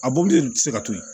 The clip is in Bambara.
A mɔbili de ti se ka to yen